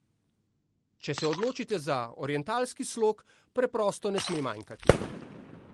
Če se odločite za orientalski slog, preprosto ne sme manjkati!